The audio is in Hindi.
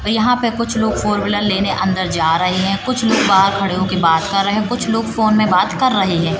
तो यहाँ पे कुछ लोग फोर व्हीलर लेने अंदर जा रहे हैं कुछ लोग बाहर खड़े होके बात कर रहे हैं कुछ लोग फोन में बात कर रहे हैं।